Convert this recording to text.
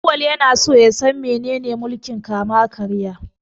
Auwal yana son ya san menene mulkin kama-karya.